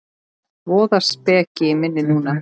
Voða speki í minni núna.